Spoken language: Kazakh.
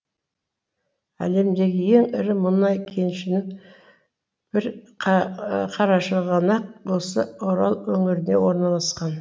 әлемдегі ең ірі мұнай кенішінің бір қарашығанақ осы орал өңірінде орналасқан